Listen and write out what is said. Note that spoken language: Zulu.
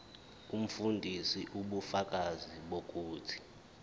umfundisi ubufakazi bokuthi